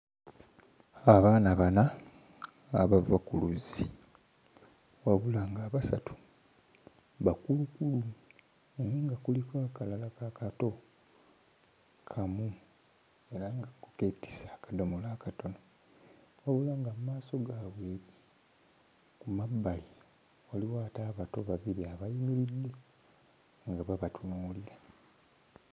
Abaana bana abava ku luzzi wabula ng'abasatu bakulukulu naye nga kuliko akalala akato kamu era nga ko keetisse akadomola akatono, wabula nga mu maaso gaabwe eri ku mabbali waliwo ate abato babiri abayimiridde nga babatuunuulira.